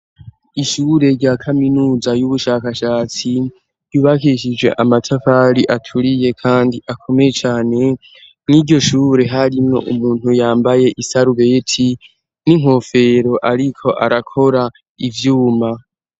Ishure rya kaminuza y'ubushakashatsi yubakishije amatavari aturiye kandi akomeye cane nk'iryo shure harino umuntu yambaye isarubet n'inkofero ariko arakora ivyuma.